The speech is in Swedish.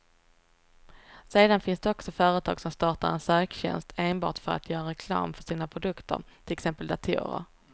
Sedan finns det också företag som startar en söktjänst enbart för att göra reklam för sina egna produkter, till exempel datorer.